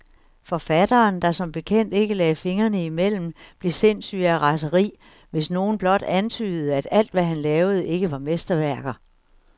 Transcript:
Forfatteren, der som bekendt ikke lagde fingrene imellem, blev sindssyg af raseri, hvis nogen blot antydede, at alt, hvad han lavede, ikke var mesterværker.